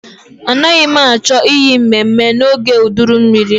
Anaghị m achọ iyi mmemme n'oge uduru mmiri.